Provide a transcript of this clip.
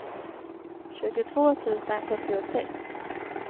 tjugotvå tusen sjuttiosex